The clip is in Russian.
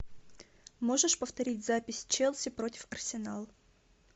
можешь повторить запись челси против арсенал